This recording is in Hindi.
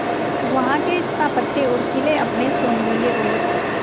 वहां के स्थापत्य और किले अपने सौंदर्य और